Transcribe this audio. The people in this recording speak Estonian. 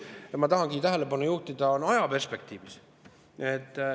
Ma tahangi tähelepanu juhtida ajaperspektiivile.